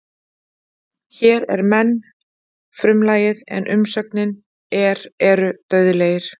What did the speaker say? Hér er menn frumlagið en umsögnin er eru dauðlegir.